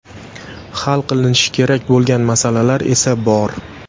Hal qilinishi kerak bo‘lgan masalalar esa bor.